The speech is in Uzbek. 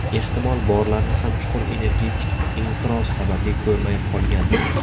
Ehtimol, borlarini ham chuqur energetik inqiroz sababli ko‘rmay qolgandirmiz.